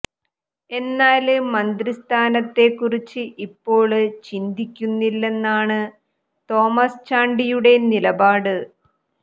എന്നാല് മന്ത്രിസ്ഥാനത്തെ കുറിച്ച് ഇപ്പോള് ചിന്തിക്കുന്നില്ലെന്നാണ് തോമസ് ചാണ്ടിയുടെ നിലപാട്